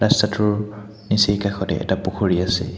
ৰাস্তাটোৰ নিচেই কাষতে এটা পুখুৰী আছে।